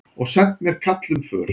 Og sent mér kall um för.